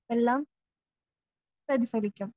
എല്ലാം പരിഹരിക്കും.